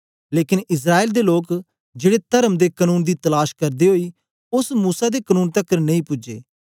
लेकन इस्राएल दे लोक जेड़े तरम दे कनून दी तलाश करदे ओई ओस मूसा दे कनून तकर नेई पूजे